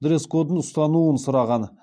дресс кодын ұстануын сұраған